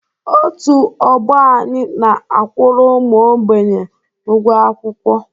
Otu ọgbọ anyị na a kwuru ụmụ ógbènye ụgwọ akwụkwọ